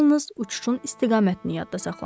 Yalnız uçuşun istiqamətini yadda saxlamışdı.